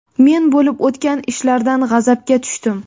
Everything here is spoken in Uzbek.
Men bo‘lib o‘tgan ishlardan g‘azabga tushdim.